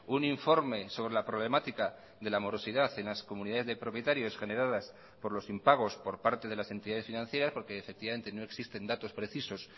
un informe sobre la problemática de la morosidad en las comunidades de propietarios generadas por los impagos por parte de las entidades financieras porque efectivamente no existen datos precisos